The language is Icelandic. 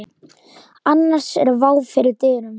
Annars er vá fyrir dyrum.